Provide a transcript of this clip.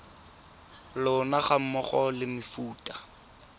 lona ga mmogo le mefuta